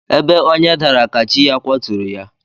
Ebe onye dara ka chi ya kwaturu ya.